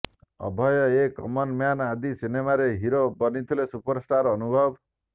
Abhay a common man ଆଦି ସିନେମାରେ hero ବନିଥିଲେ ସୁପରଷ୍ଟାର ଅନୁଭବ